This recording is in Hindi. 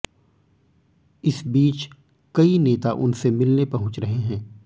इस बीच कई नेता उनसे मिलने पहुंच रहे हैं